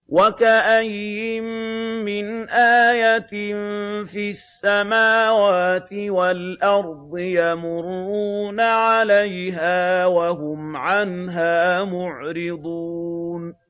وَكَأَيِّن مِّنْ آيَةٍ فِي السَّمَاوَاتِ وَالْأَرْضِ يَمُرُّونَ عَلَيْهَا وَهُمْ عَنْهَا مُعْرِضُونَ